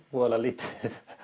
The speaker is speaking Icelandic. voða lítið